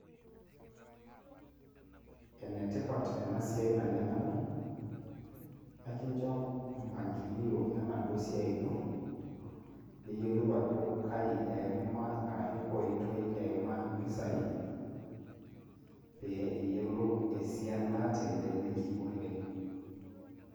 Enetipat enasiai naleng' amu, ekincho mpangilio enaduo siai ino, niyiolou ajo kai eima arashu koitoi eima impisai, pee iyiolou esiana teleleki oleng'.